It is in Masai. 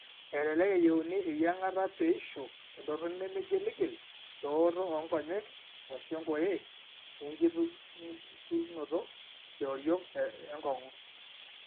Elelek eyieuni eyieng'ata peeishu entoroni nemeigiligil eooto oonkonyek/enkoye oenkitung'uikinoto eoriong' enkong'u.